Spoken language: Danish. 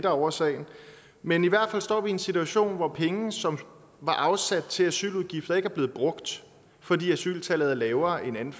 årsagen men i hvert fald står vi i en situation hvor penge som var afsat til asyludgifter ikke er blevet brugt fordi asyltallet er lavere end